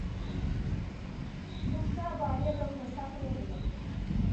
нушаба олеговна сафронова